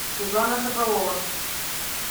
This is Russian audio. светлана соколова